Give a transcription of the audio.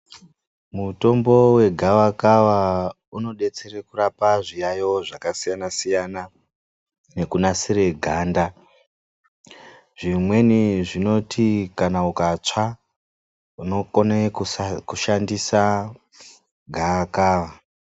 Mutombo wegava kava unodetsera kurapa zviyayo zvakasiyana siyana nekunasira ganda zvimweni zvinoti Kana ukatsva unokona kushandisa gava kava.